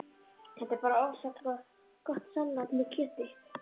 Þetta er bara ofsagott salat með kjöti